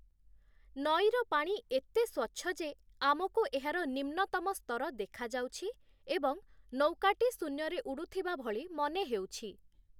ନଈର ପାଣି ଏତେ ସ୍ୱଚ୍ଛ ଯେ, ଆମକୁ ଏହାର ନିମ୍ନତମ ସ୍ତର ଦେଖାଯାଉଛି ଏବଂ ନୌକାଟି ଶୂନ୍ୟରେ ଉଡ଼ୁଥିବା ଭଳି ମନେ ହେଉଛି ।